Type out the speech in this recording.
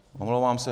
Omlouvám se.